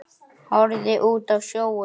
Horfði út á sjóinn.